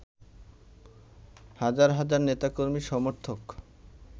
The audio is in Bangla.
হাজার হাজার নেতা-কর্মী-সমর্থক